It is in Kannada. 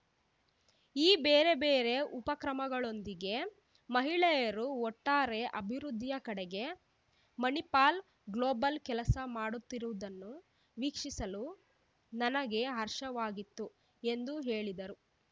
ಈ ಬೇರೆ ಬೇರೆ ಉಪಕ್ರಮಗಳೊಂದಿಗೆ ಮಹಿಳೆಯರು ಒಟ್ಟಾರೆ ಅಭಿವೃದ್ಧಿಯ ಕಡೆಗೆ ಮಣಿಪಾಲ್ ಗ್ಲೋಬಲ್ ಕೆಲಸ ಮಾಡುತ್ತಿರುವುದನ್ನು ವೀಕ್ಷಿಸಲು ನನಗೆ ಹರ್ಷವಾಗಿತ್ತು ಎಂದು ಹೇಳಿದರು